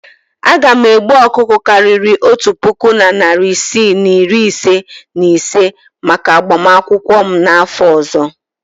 Aga m egbu ọkụkọ karịrị otu puku na narị isii na iri ise na ise maka agbamakwụkwọ m n'afọ ọzọ.